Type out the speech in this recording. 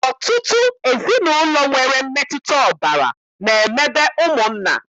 Ọtụtụ ezinaụlọ nwere mmetụta ọbara na-emebe ụmụnna